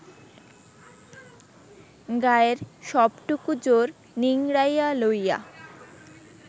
গায়ের সবটুকু জোর নিংড়াইয়া লইয়া